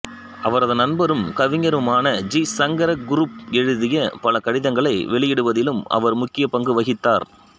அவரது நண்பரும் கவிஞருமான ஜி சங்கர குறுப் எழுதிய பல கடிதங்களை வெளியிடுவதிலும் அவர் முக்கிய பங்கு வகித்தார்